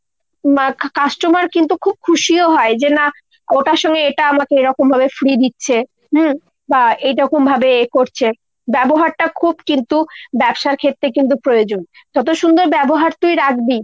উম customer কিন্তু খুব খুশিও হয় যে না ওটার সঙ্গে এটা আমাকে এরকমভাবে free দিচ্ছে, উম বা এইরকমভাবে এ করছে। ব্যবহারটা খুব কিন্তু ব্যবসার ক্ষেত্রে কিন্তু প্রয়োজন। যত সুন্দর ব্যবহার তুই রাখবি